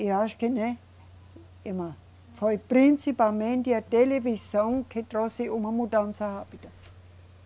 E acho que, né, irmã, foi principalmente a televisão que trouxe uma mudança rápida.